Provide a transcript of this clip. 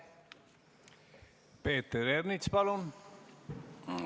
Peeter Ernits, palun!